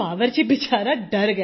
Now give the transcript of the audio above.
बावर्ची बिचारा डर गया